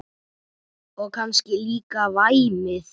Og kannski líka væmið.